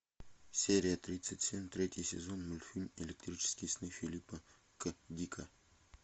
серия тридцать семь третий сезон мультфильм электрические сны филлипа к дика